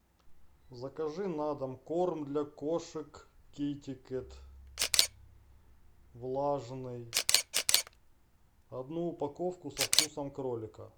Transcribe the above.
закажи на дом корм для кошек китекет влажный одну упаковку со вкусом кролика